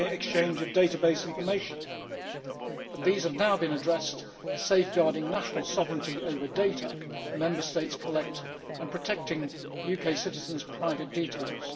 exchange of database information but these have now been addressed, safeguarding national sovereignty over the data that Member States collect and protecting UK citizens' private details.